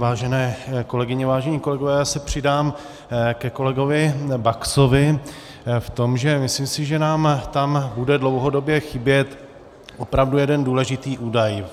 Vážené kolegyně, vážení kolegové, já se přidám ke kolegovi Baxovi v tom, že si myslím, že nám tam bude dlouhodobě chybět opravdu jeden důležitý údaj.